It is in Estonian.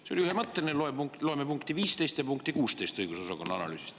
See oli ühemõtteline, loeme punkti 15 ja 16 õigusosakonna analüüsist.